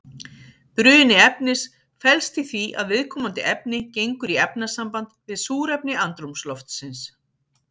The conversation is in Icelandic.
Bruni efnis felst í því að viðkomandi efni gengur í efnasamband við súrefni andrúmsloftsins.